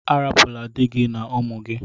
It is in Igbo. Arapula dị gị na ụmụ gị!